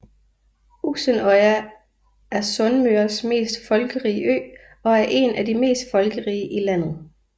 Uksenøya er Sunnmøres mest folkerige ø og en af de mest folkerige i landet